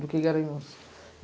do que Ganharuns.